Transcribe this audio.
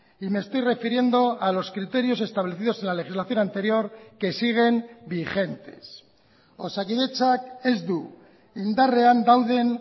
y me estoy refiriendo a los criterios establecidos en la legislación anterior que siguen vigentes osakidetzak ez du indarrean dauden